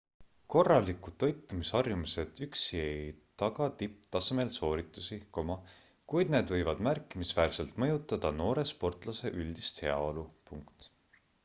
korralikud toitumisharjumused üksi ei taga tipptasemel sooritusi kuid need võivad märkimisväärselt mõjutada noore sportlase üldist heaolu